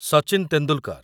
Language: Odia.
ସଚିନ ତେନ୍ଦୁଲକର